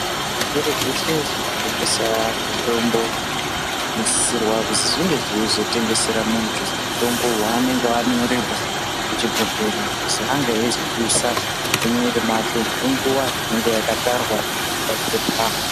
Zvitoro zveshe zvinotengesa mitombo zvinosisirwa kuzi zvinge zveizotengesera muntu mutombo wanenge anyorerwa kuchibhodhlera kuzi ange eizodusa zviri mumwiri mwake nenguwa inenge yakatarwa papepa.